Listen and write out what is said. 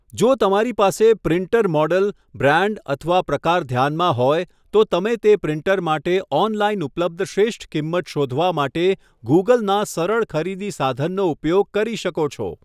જો તમારી પાસે પ્રિન્ટર મૉડલ, બ્રાંડ અથવા પ્રકાર ધ્યાનમાં હોય, તો તમે તે પ્રિન્ટર માટે ઑનલાઇન ઉપલબ્ધ શ્રેષ્ઠ કિંમત શોધવા માટે ગૂગલના સરળ ખરીદી સાધનનો ઉપયોગ કરી શકો છો.